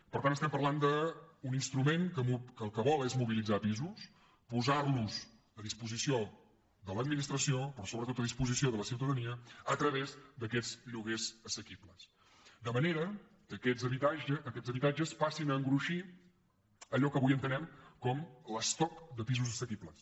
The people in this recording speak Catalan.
per tant estem parlant d’un instrument que el que vol és mobilitzar pisos posarlos a disposició de l’administració però sobretot a disposició de la ciutadania a través d’aquests lloguers assequibles de manera que aquests habitatges passin a engruixir allò que avui entenem per l’ estoc de pisos assequibles